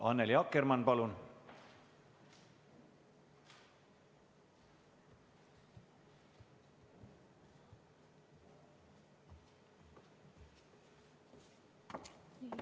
Annely Akkermann, palun!